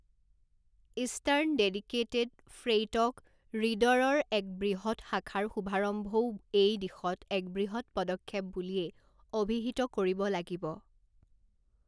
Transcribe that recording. Eastern dedicated freight corridor ৰ এক বৃহত্ শাখাৰ শুভাৰম্ভও এই দিশত এক বৃহত্ পদক্ষেপ বুলিয়ে অভিহিত কৰিব লাগিব।